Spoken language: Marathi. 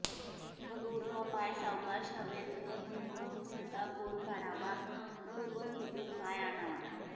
मग उजवा पाय सावकाश हवेत वर नेऊन छोटा गोल काढावा व पूर्व स्थितीत पाय आणावा